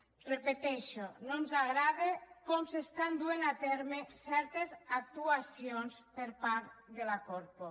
ho repeteixo no ens agrada com s’estan duent a terme certes actuacions per part de la corpo